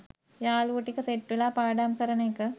යාළුවො ටික සෙට් වෙලා පාඩම් කරන එක